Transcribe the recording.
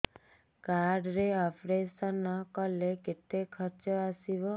card ରେ operation କଲେ କେତେ ଖର୍ଚ ଆସିବ